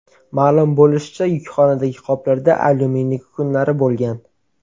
Ma’lum bo‘lishicha, yukxonadagi qoplarda alyuminiy kukunlari bo‘lgan.